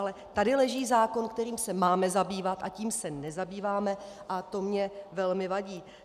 Ale tady leží zákon, kterým se máme zabývat, a tím se nezabýváme a to mně velmi vadí.